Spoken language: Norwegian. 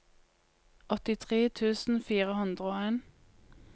åttitre tusen fire hundre og en